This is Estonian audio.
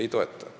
Ei toeta.